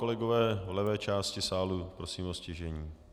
Kolegové v levé části sálu, prosím o ztišení.